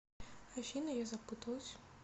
афина я запуталась